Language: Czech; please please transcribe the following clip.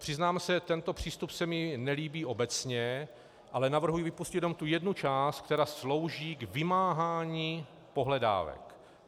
Přiznám se, tento přístup se mi nelíbí obecně, ale navrhuji vypustit jenom tu jednu část, která slouží k vymáhání pohledávek.